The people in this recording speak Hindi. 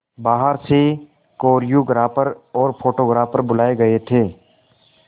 बाहर से कोरियोग्राफर और फोटोग्राफर बुलाए गए थे